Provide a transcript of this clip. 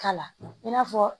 K'a la i n'a fɔ